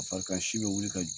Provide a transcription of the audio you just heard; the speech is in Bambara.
A farikansi bɛ wuli ka